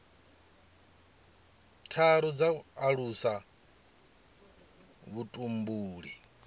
tharu dza u alusa vhutumbuli